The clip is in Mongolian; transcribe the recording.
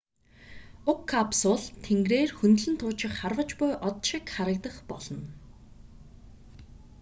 уг капсул тэнгэрээр хөндлөн туучих харваж буй од шиг харагдах болно